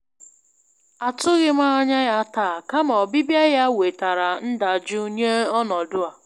Atụghị m anya ya taa, kama ọbịbịa ya ya wetara ndajụ nye ọnọdụ a.